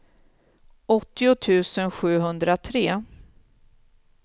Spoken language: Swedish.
åttio tusen sjuhundratre